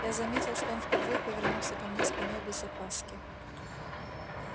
я заметил что он впервые повернулся ко мне спиной без опаски